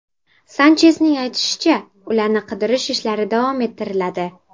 Sanchesning aytishicha, ularni qidirish ishlari davom ettiriladi.